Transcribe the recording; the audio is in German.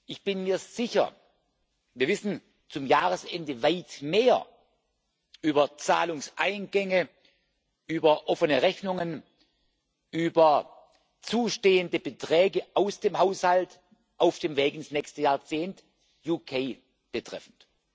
Ich bin mir sicher, wir wissen zum Jahresende weit mehr über Zahlungseingänge, über offene Rechnungen, über zustehende Beträge aus dem Haushalt auf dem Weg ins nächste Jahrzehnt, das Vereinigte Königreich betreffend.